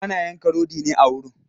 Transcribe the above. Ana yanka rodi ne a wurin?